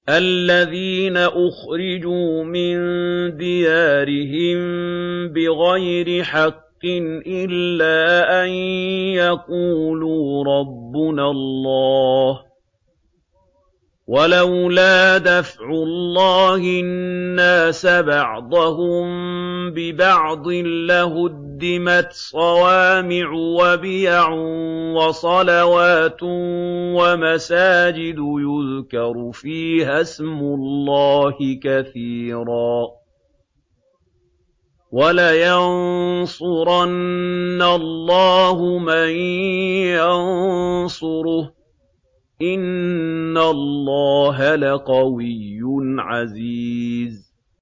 الَّذِينَ أُخْرِجُوا مِن دِيَارِهِم بِغَيْرِ حَقٍّ إِلَّا أَن يَقُولُوا رَبُّنَا اللَّهُ ۗ وَلَوْلَا دَفْعُ اللَّهِ النَّاسَ بَعْضَهُم بِبَعْضٍ لَّهُدِّمَتْ صَوَامِعُ وَبِيَعٌ وَصَلَوَاتٌ وَمَسَاجِدُ يُذْكَرُ فِيهَا اسْمُ اللَّهِ كَثِيرًا ۗ وَلَيَنصُرَنَّ اللَّهُ مَن يَنصُرُهُ ۗ إِنَّ اللَّهَ لَقَوِيٌّ عَزِيزٌ